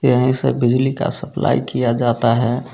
यहीं से बिजली का सप्लाई किया जाता है।